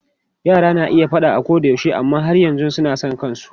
Yara na iya yin faɗa koyaushe amma har yanzu suna son kansu.